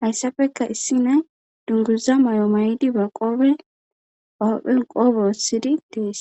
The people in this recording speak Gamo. hayssafeka issi nay dunguza mayo maydi ba qoobe ophphen qoobe ossidi dees.